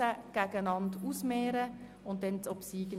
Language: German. Knutti hat das Wort als Antragsteller.